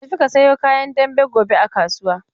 Ka tafi ka sayo kayan dambe gobe a kasuwa!